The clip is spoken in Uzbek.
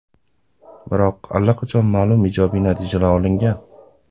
Biroq allaqachon ma’lum ijobiy natijalar olingan.